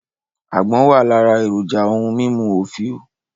Àgbọ̀n wà lára èròjà ohun mímú òfìò